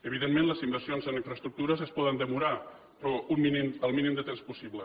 evidentment les inversions en infraestructures es poden demorar però el mínim de temps possible